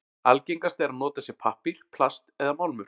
Algengast er að notað sé pappír, plast eða málmur.